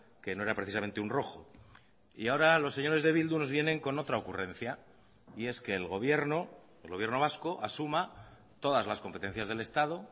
que no era precisamente un rojo y ahora los señores de bildu nos vienen con otra ocurrencia y es que el gobierno el gobierno vasco asuma todas las competencias del estado